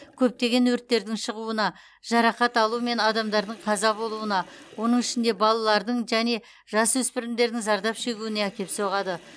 көптеген өрттердің шығуына жарақат алу мен адамдардың қаза болуына оның ішінде балалардың және жасөспірімдердің зардап шегуіне әкеп соғады